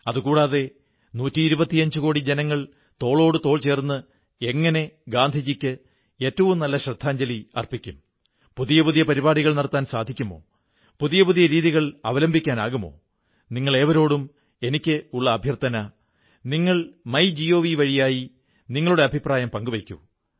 അതുകൂടാതെ നൂറ്റി ഇരുപത്തിയഞ്ചുകോടി ജനങ്ങൾ തോളോടു തോൾ ചേർന്ന് എങ്ങനെ ഗാന്ധിജിക്ക് ഏറ്റവും നല്ല ശ്രദ്ധാഞ്ജലി അർപ്പിക്കും പുതിയ പുതിയ പരിപാടികൾ നടത്താൻ സാധിക്കുമോ പുതിയ പുതിയ രീതികൾ അവലംബിക്കാനാകുമോ നിങ്ങളേവരോടും എനിക്കുള്ള അഭ്യർഥന നിങ്ങൾ മൈ ജിഒവി വഴി നിങ്ങളുടെ അഭിപ്രായം പങ്കുവയ്ക്കൂ